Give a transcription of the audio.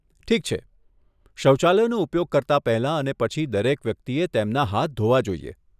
ઠીક છે! શૌચાલયનો ઉપયોગ કરતા પહેલા અને પછી, દરેક વ્યક્તિએ તેમના હાથ ધોવા જોઈએ.